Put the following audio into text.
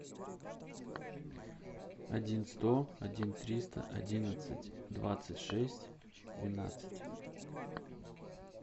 один сто один триста одиннадцать двадцать шесть двенадцать